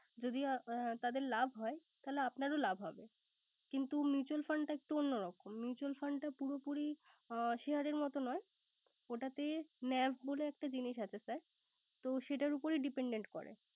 যদি তাদের লাভ হয় তাহলে আপনার ও লাভ হবে। কিন্ত mutual fund টা একটু অন্য রকম। mutual fund টা পুরোপুরি share মত নয়। ওটাতে NAV বলে একটা জিনিস আছে sir তো সেটার উপরেই depandent করে।